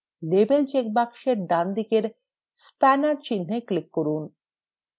label check boxএর ডানদিকের spanner চিন্হে click করুন